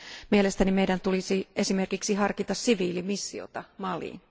Mielestäni meidän tulisi esimerkiksi harkita siviilimissiota Maliin.